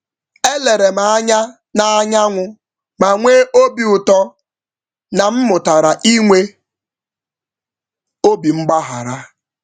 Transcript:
Mgbe m na-ele ọwụwa anyanwụ, m nwere ekele maka nkuzi n’oge na-adịbeghị anya banyere ịhapụ ihe.